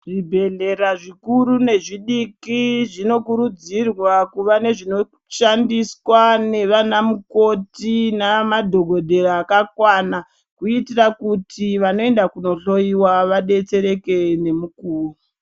Zvibhedhleya zvikuru nezvidiki zvinokuridzirwa kuva nezvinoshandiswa nevanamukoti naamadhokodheya akakwana kuitira kuti vanoenda kunohloyiwa vadetsereke nemukuwo.